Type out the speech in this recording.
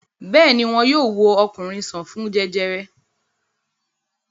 Bẹ́ẹ̀ ni, wọn yóò wo ọkùnrin sàn fún jẹjẹrẹ.